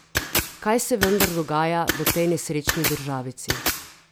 Kaj se vendar dogaja v tej nesrečni državici?